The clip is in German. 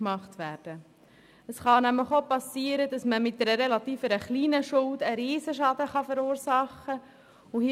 Es kann nämlich passieren, dass mit einer relativ kleinen Schuld ein riesiger Schaden verursacht wird.